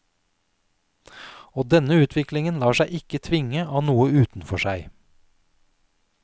Og denne utviklingen lar seg ikke tvinge av noe utenfor seg.